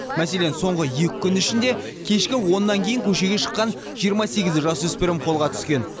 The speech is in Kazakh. мәселен соңғы екі күн ішінде кешкі оннан кейін көшеге шыққан жиырма сегіз жасөспірім қолға түскен